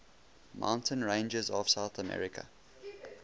mountain ranges of south america